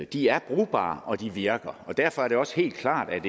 de er brugbare og de virker og derfor er det også helt klart at